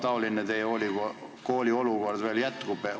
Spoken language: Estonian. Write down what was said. Kui kaua teie koolis selline olukord veel jätkub?